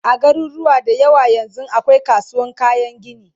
a garuruwa da yawa yanzun akwai kasuwan kayan gini